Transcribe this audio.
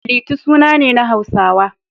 Liti suna ne na Hausawa.